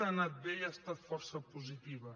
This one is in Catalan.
ha anat bé i ha estat força positiva